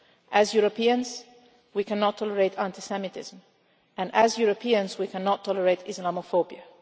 As Europeans we cannot tolerate anti semitism and as Europeans we cannot tolerate Islamophobia.